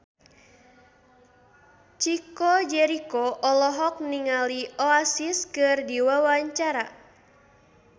Chico Jericho olohok ningali Oasis keur diwawancara